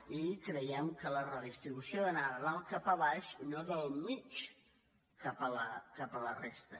i creiem que la redistribució d’anar de dalt cap a baix i no del mig cap a la resta